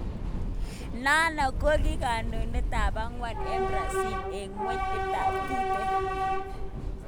Nano go ki kondoet ap akwang en Brazil en kweng itap Tite